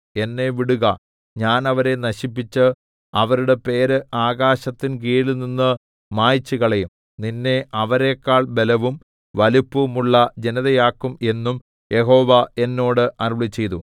എന്നെ വിടുക ഞാൻ അവരെ നശിപ്പിച്ച് അവരുടെ പേര് ആകാശത്തിൻ കീഴിൽനിന്ന് മായിച്ചുകളയും നിന്നെ അവരെക്കാൾ ബലവും വലിപ്പവുമുള്ള ജനതയാക്കും എന്നും യഹോവ എന്നോട് അരുളിച്ചെയ്തു